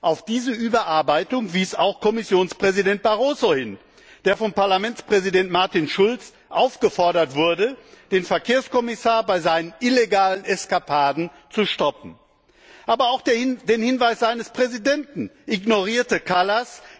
Auf diese Überarbeitung wies auch Kommissionspräsident Barroso hin, der von Parlamentspräsident Martin Schulz aufgefordert wurde, den Verkehrskommissar bei seinen illegalen Eskapaden zu stoppen. Aber auch den Hinweis seines Präsidenten ignorierte Kallas.